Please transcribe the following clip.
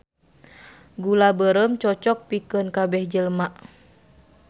Gula beureum cocok pikeun kabeh jelema